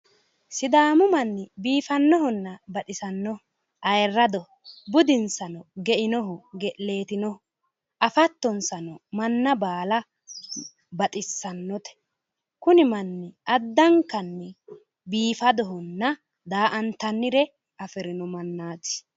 sidaamu manni baxisannohonna biifannoho ayiirradoho, budinsano geinoho ge'leetinoho afattonsano manna baala baxissannote kuni manni addankanni biifadohonna daa''antannire afirino mannaati.